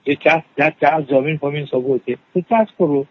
ଏଟା ଜର ଜମି ସବୁ ଅଛି ସେ ଚାଷ କରୁ